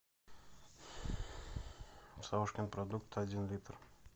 савушкин продукт один литр